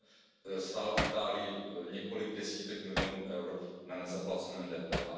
Odhadem stál Itálii několik desítek milionů EUR na nezaplacené DPH.